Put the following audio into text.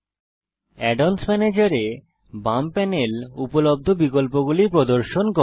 add অন্স ম্যানেজের এ বাম প্যানেল উপলব্ধ বিকল্পগুলি প্রদর্শন করে